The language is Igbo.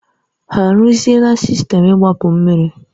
Ha arụzila sistemu igbapu mmiri?